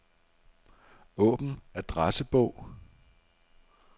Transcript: Åbn adressebog.